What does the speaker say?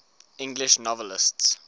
english novelists